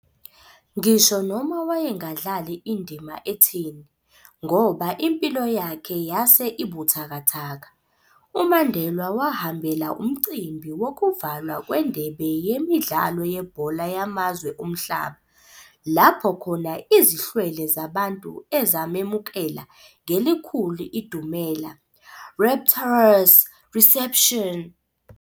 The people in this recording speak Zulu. Ngisho noma wayengadlali indima etheni, ngoba impilo yakhe yase ibuthakathaka, uMandelwa wahambela umcimbi wokuvalwa kwendebe yemidlalo yebhola yamazwe omhlaba, lapho khona izihlwele zabantu ezamemukela ngelikhulu idumela, "rapturous reception".